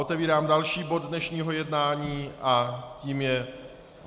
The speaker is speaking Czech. Otevírám další bod dnešního jednání a tím je